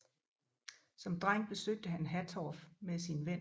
Som dreng besøgte han Hattorf med sin ven